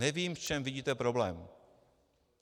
Nevím, v čem vidíte problém.